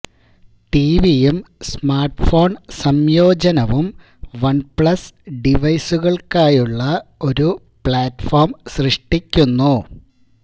ടിവിയും smartphone സംയോജനവും OnePlus ഡിവൈസുകൾക്കായുള്ള ഒരു പ്ലാറ്റ്ഫോം സൃഷ്ടിക്കുന്നു